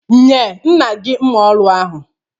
Nye nna gị mma ọrụ ahụ